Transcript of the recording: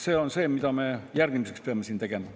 See on see, mida me järgmiseks peame siin tegema.